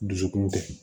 Dusukun tɛ